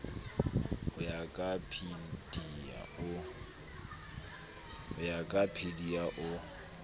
ho ya ka pilir o